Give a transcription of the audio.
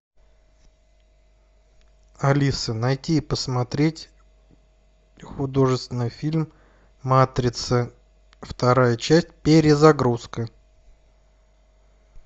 алиса найти и посмотреть художественный фильм матрица вторая часть перезагрузка